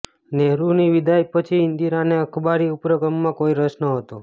નહેરુની વિદાય પછી ઈન્દિરાને અખબારી ઉપક્રમમાં કોઈ રસ ન હતો